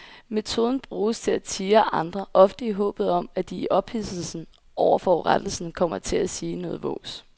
Metoden bruges til at tirre andre, ofte i håbet om at de i ophidselsen over forurettelsen kommer til at sige noget vås.